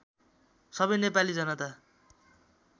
सबै नेपाली जनता